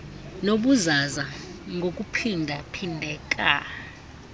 nobuzaza ngokuphinda phindeka